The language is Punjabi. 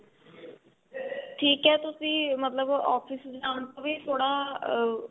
ਠੀਕ ਏ ਤੁਸੀਂ ਮਤਲਬ office ਜਾਣ ਤੋਂ ਵੀ ਥੋੜਾ ah